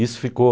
Isso ficou...